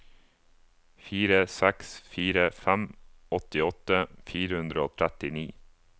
fire seks fire fem åttiåtte fire hundre og trettini